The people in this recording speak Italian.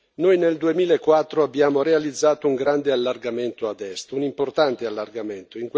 Noi nel 2004 abbiamo realizzato un grande allargamento ad Est, un importante allargamento.